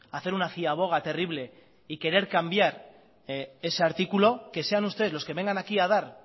hacer una ciaboga terrible y querer cambiar ese artículo que sean ustedes los que vengan aquí a dar